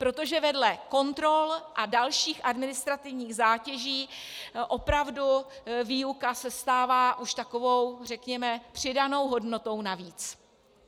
Protože vedle kontrol a dalších administrativních zátěží opravdu výuka se stává už takovou, řekněme, přidanou hodnotou navíc.